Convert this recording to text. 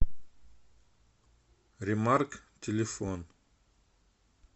ремарк телефон